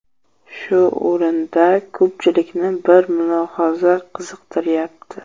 Shu o‘rinda ko‘pchilikni bir mulohaza qiziqtiryapti.